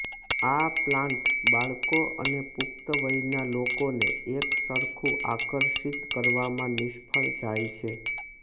આ પ્લાન્ટ બાળકો અને પુખ્ત વયના લોકોને એકસરખું આકર્ષિત કરવામાં નિષ્ફળ જાય છે